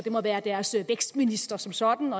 må være deres vækstminister som sådan